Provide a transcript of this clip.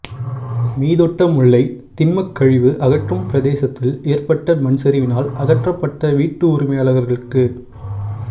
மீதொட்டமுல்லை திண்மக் கழிவு அகற்றும் பிரதேசத்தில் ஏற்பட்ட மண்சரிவினால் அகற்றப்பட்ட வீட்டு உரிமையாளர்களுக்கு